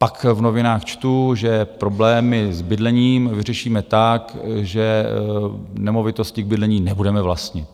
Pak v novinách čtu, že problémy s bydlením vyřešíme tak, že nemovitosti k bydlení nebudeme vlastnit.